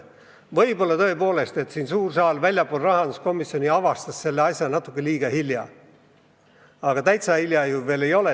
Võib-olla tõepoolest suur saal avastas selle natuke liiga hilja, aga lootusetult hilja ju veel ei ole.